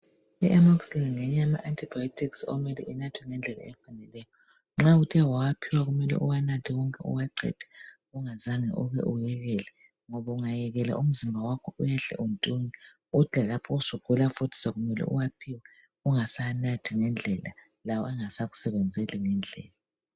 Iammoxillian ngenye yama antibiotics okumele inathwe ngendlela ekhangelelweyo. Nxa uthe wawaphiwa kuyabe kumele uwanathe wonke uwaqede. Ungazange uke uyejele. Ungayejela umzimba wakho uyahle untunye. Uthi lalapho usugula futhi, sekumele uwanathe. Ungasawanathi ngendleia. Lawo engasakusebenzeli ngendleia.